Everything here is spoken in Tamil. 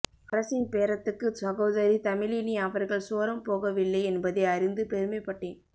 அரசின் பேரத்துக்கு சகோதரி தமிழினி அவர்கள் சோரம் போகவில்லை என்பதை அறிந்து பெருமைப்பட்டேன்